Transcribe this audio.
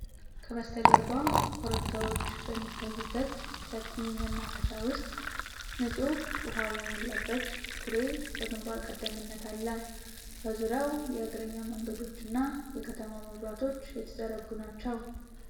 ከበስተጀርባ ኮረብታዎች በሚታዩበት ሰፊ መናፈሻ ውስጥ፣ ንጹሕ ውሃ የተሞላበት ኩሬ በግንባር ቀደምትነት አለ። በዙሪያው የእግረኛ መንገዶችና የከተማ መብራቶች የተዘረጉ ናቸው።